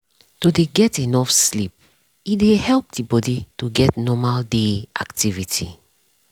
to dey get enough sleep e dey help the bodi to get normal day activity.